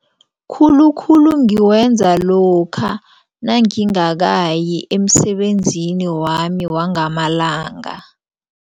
Khulukhulu ngiwenza lokha nangingakayi emsebenzini wami wangamalanga.